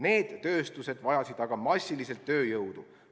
Need tööstused vajasid aga massiliselt tööjõudu.